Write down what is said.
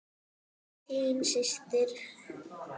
Þín systir, Sigrún.